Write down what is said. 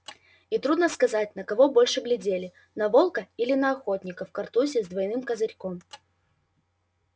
и трудно сказать на кого больше глядели на волка или на охотника в картузе с двойным козырьком